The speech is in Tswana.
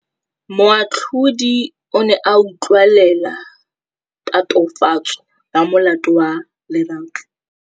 Moatlhodi o ne a utlwelela tatofatsô ya molato wa Lerato.